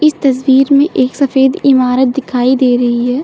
इस तस्वीर में एक सफेद इमारत दिखाई दे रही है।